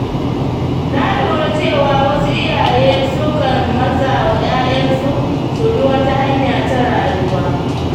Na lura cewa wasu iyaye sukan matsa wa ‘ya’yansu su bi wata hanya ta rayuwa.